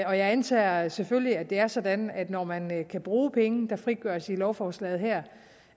jeg antager selvfølgelig at det er sådan at når man kan bruge penge der frigøres i lovforslaget her